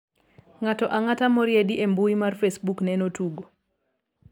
ng'ato ang'ata moriedi e mbui mar facebook neno tugo